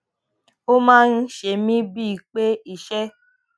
ó máa ń ṣe mí bíi pé iṣé